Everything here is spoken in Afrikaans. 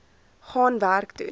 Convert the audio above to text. gaan werk toe